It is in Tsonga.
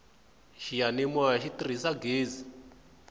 xiyanimoya xi tirhisa ghezi